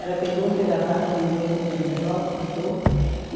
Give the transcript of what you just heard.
Ela pegou, fez a carta, mandou, comprou um envelope, botou.